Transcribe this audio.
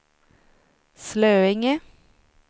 Slöinge